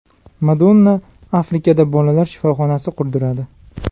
Madonna Afrikada bolalar shifoxonasi qurdiradi.